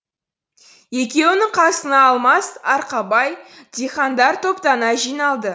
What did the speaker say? екеуінің қасына алмас арқабай дихандар топтана жиналды